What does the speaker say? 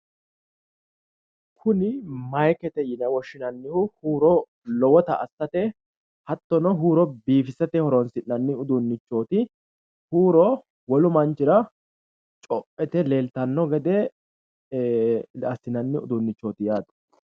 Kuni mayikete yine woshshinannihu huuro lowota assate hattono huuro biifisate horoonsi'nanni uduunnichchooti huuro wolu manchira co'o yite leeltanno gede assinanni uduunnichchooti yaate